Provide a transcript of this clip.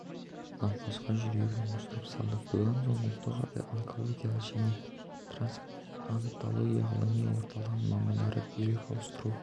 науқасқа жүрегін ауыстырып салды бұдан соң ұлттық онкология және трансплантология ғылыми орталығының мамандары бүйрек ауыстыру